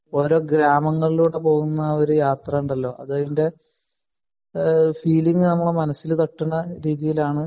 ഓരോ ഗ്രാമങ്ങളിലൂടെ പോവുന്ന ഒരു യാത്ര ഉണ്ടല്ലോ അത് അതിന്റെ ഫീലിംഗ് നമ്മടെ മനസ്സിന് തട്ടുന്ന രീതിയിലാണ്